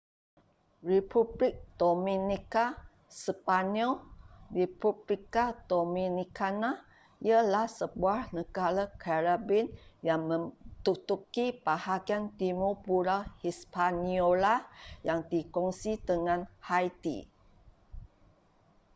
republik dominika sepanyol: república dominicana ialah sebuah negara caribbean yang menduduki bahagian timur pulau hispaniola yang dikongsi dengan haiti